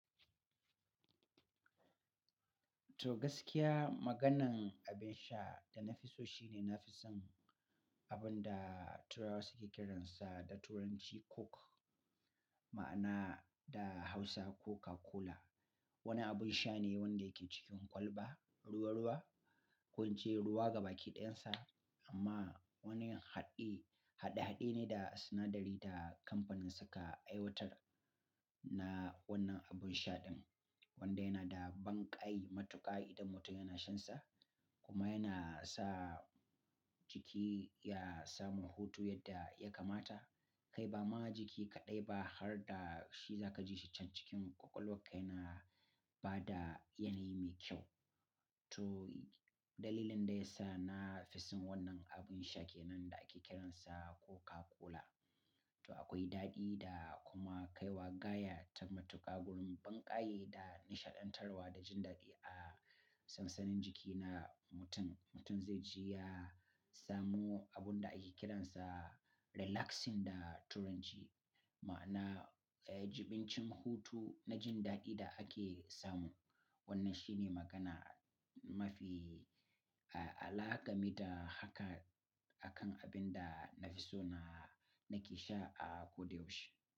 To gaskiya, maganan abin sha da na fi so shine nafi son abun da turawa suke kiransa da turanci Coke, ma'ana da Hausa Coca-Cola. Wani abin sha ne wanda yake cikin kwalba ruwa-ruwa. Ko ince ruwa gabaki ɗayansa amma wani haɗe-haɗe ne da sinadari da kamfanin suka aiwatar na wannan abin sha din wanda yana da banƙai matuƙa idan mutum yana shansa kuma yana sa jiki ya samu hutu yadda ya kamata. Kai ba ma jiki kaɗai ba har da shi za ka ji shi can cikin ƙwaƙwalwar ka yana ba da yanayi mai kyau. To dalilin da ya sa na fi son wannan abin sha ke nan da ake kiransa Coca-Cola. To akwai daɗi da kuma kaiwa gaya ta matuƙa wurin banƙaye da nishaɗantarwa da jin daɗi a sansanin jiki na mutum. Mutum zai ji ya samu abun da ake kiransa relaxing da turanci ma'ana, eh, jibincin hutu na jin daɗi da ake samu. Wannan shi ne magana mafi alaka gameda haka akan abin da na fi so na nake sha a ko da yaushe.